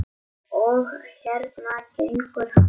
Og hérna gengur hann.